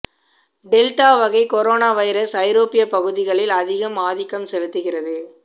delta வகை corona virus ஐரோப்பிய பகுதிகளில் அதிகம் ஆதிக்கம் செலுத்துகிறது